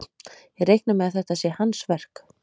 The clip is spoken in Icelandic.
Ég reikna með að þetta sé hans verk.